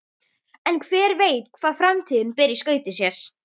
En hver veit hvað framtíðin ber í skauti sér?